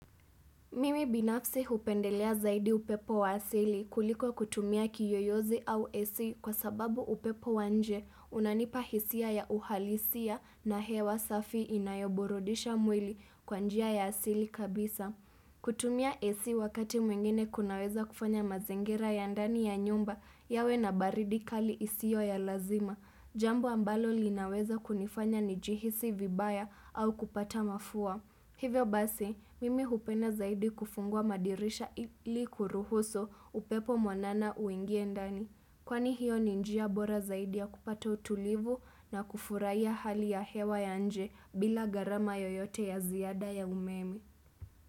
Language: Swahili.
Mimi binafsi hupendelea zaidi upepo wa asili kuliko kutumia kiyoyozi au AC kwa sababu upepo wa nje unanipa hisia ya uhalisia na hewa safi inayoburudisha mwili kwa njia ya asili kabisa. Kutumia AC wakati mwingine kunaweza kufanya mazingira ya ndani ya nyumba yawe na baridi kali isio ya lazima. Jambo ambalo linaweza kunifanya nijihisi vibaya au kupata mafua. Hivyo basi, mimi hupenda zaidi kufungua madirisha ili kuruhusu upepo mwanana uingie ndani. Kwani hiyo ni njia bora zaidi ya kupata utulivu na kufurahia hali ya hewa ya nje bila gharama yoyote ya ziada ya umeme.